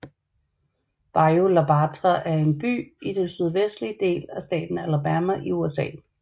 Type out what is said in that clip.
Bayou La Batre er en by i den sydvestlige del af staten Alabama i USA